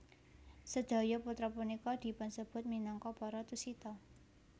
Sedaya putra punika dipunsebut minangka para Tusita